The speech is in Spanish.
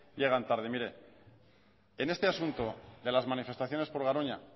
llegan tarde mire en este asunto de las manifestaciones por garoña